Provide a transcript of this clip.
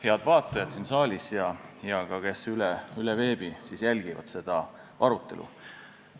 Head vaatajad siin saalis ja ka need, kes veebis seda arutelu jälgivad!